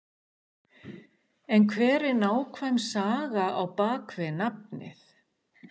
En hver er nákvæm saga á bakvið nafnið?